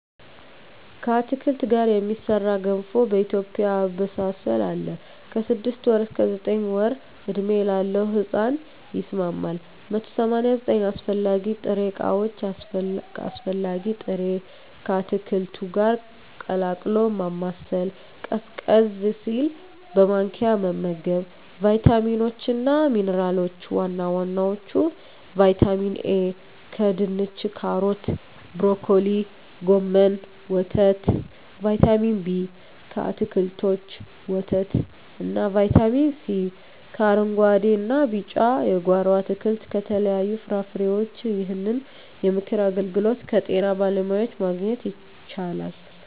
ከአትክልት ጋር የሚሠራ ገንፎ በኢትዮጵያ አበሳሰል አለ። ከ6 ወር እስከ 9 ወር ዕድሜ ላለው ሕጻን ይስማማል። 189 አስፈላጊ ጥሬ ዕቃዎች አስፈላጊ ጥሬ...፣ ከአትክልቱ ጋር ቀላቅሎ ማማሰል፣ ቀዝቀዝ ሲል በማንኪያ መመገብ። , ቫይታሚኖች እና ሚንራሎች(ዋና ዋናዎቹ) ✔️ ቫይታሚን ኤ: ከድንች ካሮት ብሮኮሊ ጎመን ወተት ✔️ ቫይታሚን ቢ: ከአትክልቶች ወተት እና ✔️ ቫይታሚን ሲ: ከአረንጉአዴ እና ቢጫ የጓሮ አትክልት ከተለያዩ ፍራፍሬዎች ይህንን የምክር አገልግሎት ከጤና ባለሙያዎች ማግኘት ይቻላል።